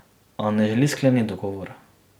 A ne želi skleniti dogovora.